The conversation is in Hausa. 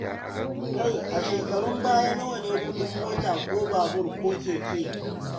Kai a shekarun baya nawa kuɗin mota ko babur ko keke?